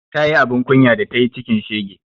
Ta yi abun kunya da tayi cikin shege